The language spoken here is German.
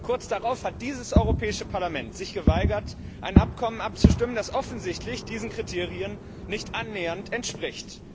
Kurz darauf hat dieses Europäische Parlament sich geweigert, ein Abkommen abzustimmen, das offensichtlich diesen Kriterien nicht annähernd entspricht.